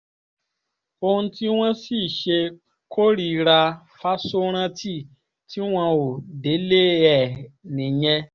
ohun tí wọ́n sì ṣe kórìíra fáṣórántì tí wọn ò délé ẹ̀ nìyẹn